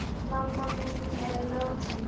Mamma mín er látin.